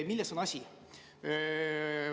Milles on asi?